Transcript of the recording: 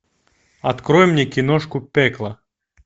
открой мне киношку пекло